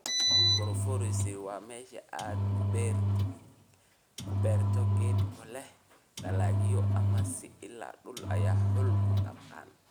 Agroforestry waa meesha aad ku beerto geedo leh dalagyo ama isla dhul ay xoolo ku dhaqdaan.